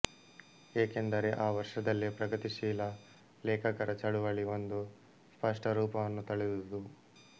ಏಕೆಂದರೆ ಆ ವರ್ಷದಲ್ಲೇ ಪ್ರಗತಿಶೀಲ ಲೇಖಕರ ಚಳವಳಿ ಒಂದು ಸ್ಪಷ್ಟ ರೂಪವನ್ನು ತಳೆದುದು